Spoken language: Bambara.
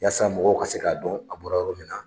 Yasa mɔgɔw ka se ka dɔn, a bɔra yɔrɔ min na.